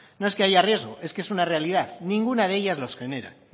no es que haya riesgo es una realidad ninguna de ellas los genera